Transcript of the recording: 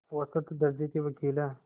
औसत दर्ज़े के वक़ील हैं